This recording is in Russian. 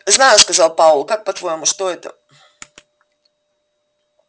знаю сказал пауэлл как по-твоему что это